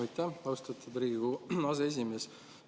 Aitäh, austatud Riigikogu aseesimees!